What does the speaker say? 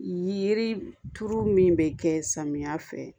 Yiri turu min bɛ kɛ samiya fɛ